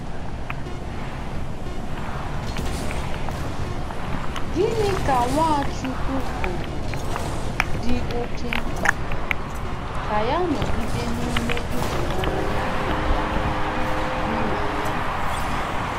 Gịnị ka Nwachukwu kwuru dị oké mkpa ka ya nọgide n’ime ịhụnanya Nna ya? Nna ya?